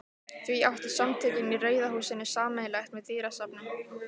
Því eitt áttu Samtökin í Rauða húsinu sameiginlegt með dýrasafni